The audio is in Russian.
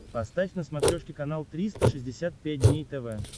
поставь на смотрешке канал триста шестьдесят пять дней тв